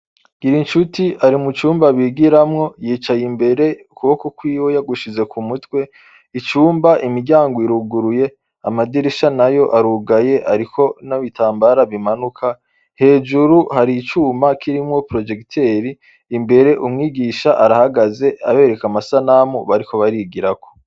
Gira incuti ari mu cumba bigiramwo yicaye imbere ukuboko kwiwe yagushize ku mutwe icumba imiryango iruguruye amadirisha na yo arugaye, ariko n'abitambara bimanuka hejuru hari icuma kirimwo projekiteri imbere umwigisha arahagaze abereka amasa namu bariko barigirako.